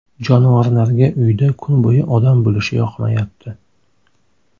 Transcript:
Jonivorlarga uyda kun bo‘yi odam bo‘lishi yoqmayapti.